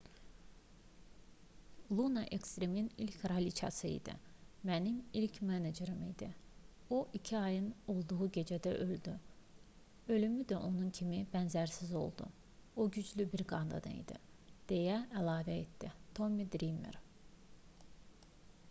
luna ekstrimin ilk kraliçası idi mənim ilk menecerim idi o iki ayın olduğu gecədə öldü ölümü də onun kimi bənzərsiz oldu o güclü bir qadın idi deyə əlavə etdi tommi drimer